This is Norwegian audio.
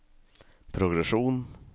progresjon